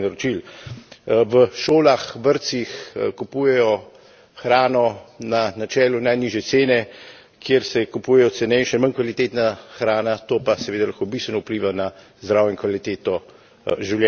V šolah, vrtcih kupujejo hrano na načelu najnižje cene, kjer se kupuje cenejša, manj kvalitetna hrana, to pa seveda lahko bistveno vpliva na zdravje in kvaliteto življenja naših otrok.